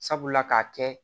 Sabula k'a kɛ